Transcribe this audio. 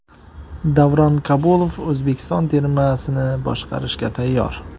Davron Kabulov O‘zbekiston termasini boshqarishga tayyor.